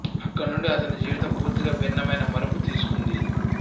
అక్కడ నుండి అతని జీవితం పూర్తిగా భిన్నమైన మలుపు తీసుకుంది